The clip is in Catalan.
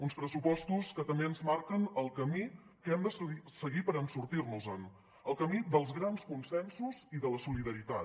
uns pressupostos que també ens marquen el camí que hem de seguir per sortir nos en el camí dels grans consensos i de la solidaritat